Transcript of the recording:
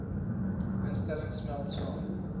instellings smelt saam